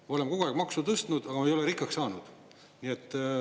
Me oleme kogu aeg maksu tõstnud, aga ei ole rikkaks saanud.